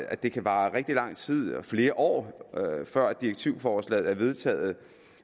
at det kan vare rigtig lang tid flere år før direktivforslaget bliver vedtaget